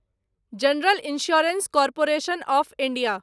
general insurance corporation of India